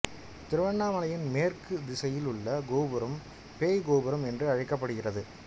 திருவண்ணாமலையின் மேற்கு திசையில் உள்ள கோபுரம் பேய் கோபுரம் என்று அழைக்கப்படுகிறது